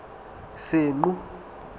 senqu